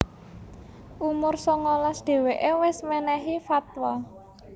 Umur songolas dheweke wis menehi fatwa